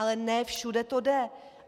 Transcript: Ale ne všude to jde.